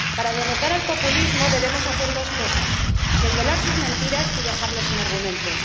Para derrotar al populismo debemos hacer dos cosas desvelar sus mentiras y dejarlos sin argumentos.